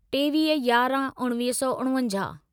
टेवीह यारहं उणिवीह सौ उणिवंजाहु